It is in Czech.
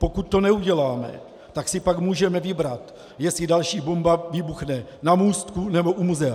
Pokud to neuděláme, tak si pak můžeme vybrat, jestli další bomba vybuchne na Můstku, nebo u Muzea.